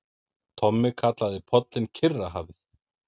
Tommi kallaði pollinn Kyrrahafið.